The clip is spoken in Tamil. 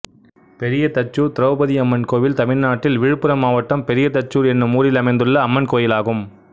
பெரியதச்சூர் திரௌபதியம்மன் கோயில் தமிழ்நாட்டில் விழுப்புரம் மாவட்டம் பெரியதச்சூர் என்னும் ஊரில் அமைந்துள்ள அம்மன் கோயிலாகும்